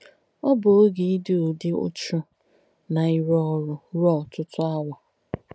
Ọ̀ bù óge dí ìdú úchū nà ìrú òrū ruō ótútú àwà.